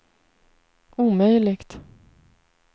omöjligt